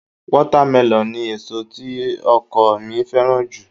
Wátámẹlọ̀ ni èso tí ọkọ mi fẹ́ràn jù